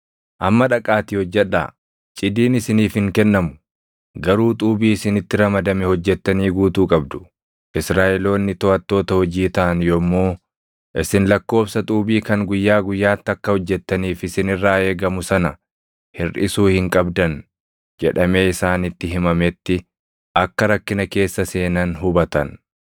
Israaʼeloonni toʼattoota hojii taʼan yommuu, “Isin lakkoobsa xuubii kan guyyaa guyyaatti akka hojjettaniif isin irraa eegamu sana hirʼisuu hin qabdan” jedhamee isaanitti himametti akka rakkina keessa seenan hubatan.